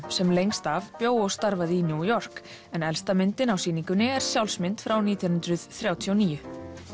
sem lengst af bjó og starfaði í New York en elsta myndin á sýningunni er sjálfsmynd frá nítján hundruð þrjátíu og níu